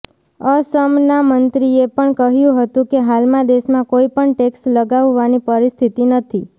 અસમના મંત્રીએ પણ કહ્યું હતું કે હાલમાં દેશમાં કોઈ પણ ટેક્સ લગાવવાની પરિસ્થિતિ નથી